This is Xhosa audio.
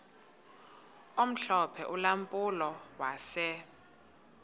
omhlophe ulampulo wase